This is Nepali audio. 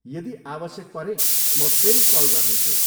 यदि आवश्यक परे म फेरि कल गर्नेछु।